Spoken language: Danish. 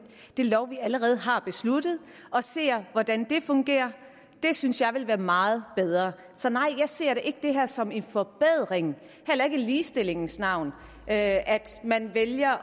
lov vi allerede har besluttet og ser hvordan det fungerer det synes jeg ville være meget bedre så nej jeg ser ikke det her som en forbedring heller ikke i ligestillingens navn at man vælger